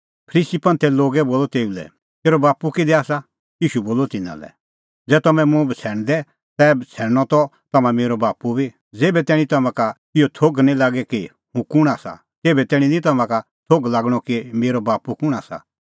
फरीसी बोलअ तेऊ लै तेरअ बाप्पू किधी आसा ईशू बोलअ तिन्नां लै ज़ै तम्हैं मुंह बछ़ैणदै तै बछ़ैणनअ त तम्हां मेरअ बाप्पू बी ज़ेभै तैणीं तम्हां का इहअ थोघ निं लागे कि हुंह कुंण आसा तेभै तैणीं निं तम्हां का थोघ लागणअ कि मेरअ बाप्पू कुंण आसा